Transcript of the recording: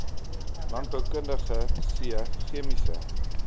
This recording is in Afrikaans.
landboukundige c chemiese